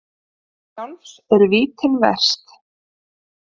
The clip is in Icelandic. Sjálfs eru vítin verst.